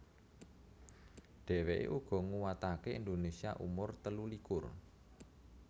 Dheweke uga nguwatake Indonesia umur telulikur